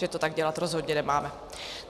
Že to tak dělat rozhodně nemáme.